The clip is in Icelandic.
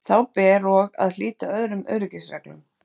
Þá ber og að hlíta öðrum öryggisreglum.